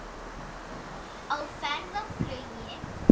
Á ferð og flugi